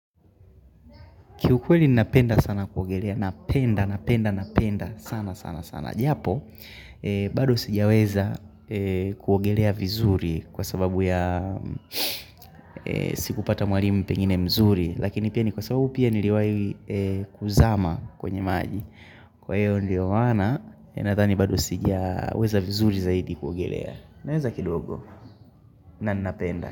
Kiukweli ninapenda sana kuogelea, napenda, napenda, napenda sana sana sana. Japo, bado sijaweza kuogelea vizuri kwa sababu ya sikupata mwalimu pengine mzuri. Lakini pia ni kwa sababu pia niliwahi kuzama kwenye maji. Kwa hiyo ndio maana ninadhani bado sijaweza vizuri zaidi kuogelea. Naweza kidogo, na ninapenda.